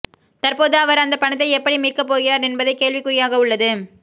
தற்போது அவர் அந்த பணத்தை எப்படி மீட்க போகிறார் என்பதே கேள்விக்குறியாக உள்ளது